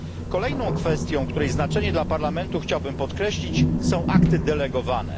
Kolejną kwestią, której znaczenie dla Parlamentu chciałbym podkreślić, są akty delegowane.